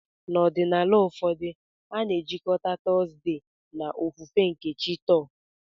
N'ọdịnala ụfọdụ, a na-ejikọta Thursday na ofufe nke chi Thor.